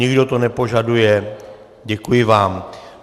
Nikdo to nepožaduje, děkuji vám.